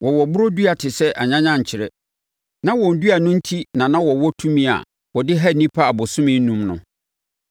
Wɔwɔ borɔ dua te sɛ anyanyankyerɛ. Na wɔn dua no enti na na wɔwɔ tumi a wɔde ha nnipa abosome enum no.